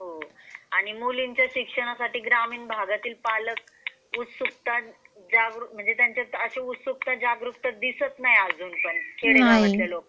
आणि मुलींच्या शिक्षणासाठी ग्रामीण भागातील पालक उत्सुकता म्हणजे त्यांच्यात उत्सुकता जागृत दिसत नाही अजून पण खेडेगावात लोकांना.